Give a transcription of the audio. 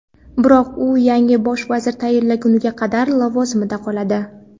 Biroq u yangi Bosh vazir tayinlangunga qadar lavozimida qoladi.